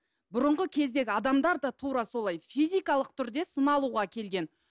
бұрынғы кездегі адамдар да тура солай физикалық түрде сыналуға келген